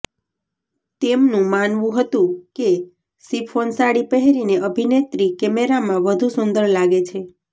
તેમનુ માનવુ હતુ કે શિફોન સાડી પહેરીને અભિનેત્રી કેમેરામાં વધુ સુંદર લાગે છે